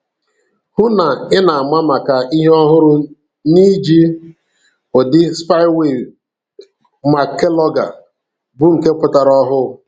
Hụ na ị na-ama maka ihe ọhụrụ n'iji udi Spyware Mac Keylogger bụ nke pụtara ọhụrụ.